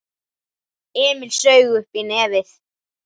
Emil saug uppí nefið.